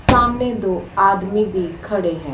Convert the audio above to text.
सामने दो आदमी भी खड़े हैं।